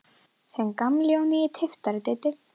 Þinn gamli og nýi tyftari, Diddi.